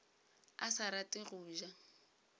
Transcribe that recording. a sa rate go ja